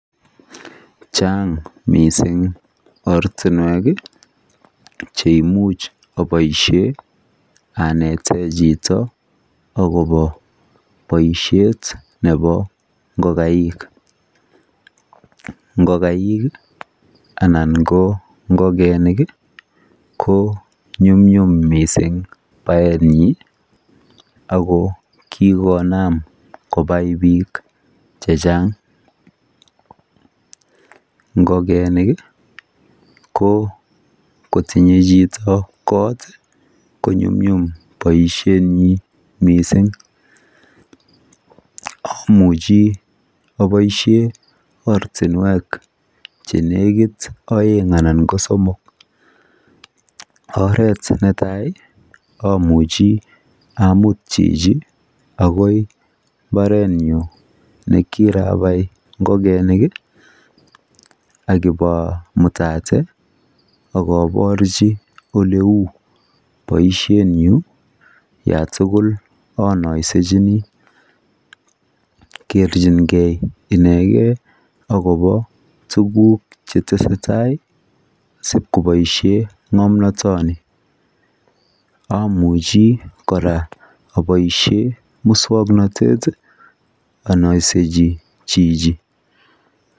Chaang mising oratinwek cheimuj apoishen anetee chitoo akobooboshet neboo ngokaik Ii ko nyumnyum mising baenyii akoo kiikonam kabii piik chechang ngokenik ko kotinyee chito koot ko nyumnyum mising baenyii